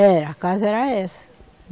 Era, a casa era essa.